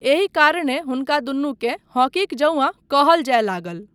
एहि कारणे हुनका दुनूकेँ हॉकीक जौंआ कहल जाय लागल।